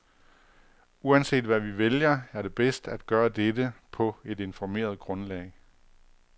Uanset hvad vi vælger, er det bedst at gøre dette på et informeret grundlag.